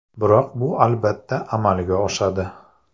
Biroq bu albatta amalga oshadi.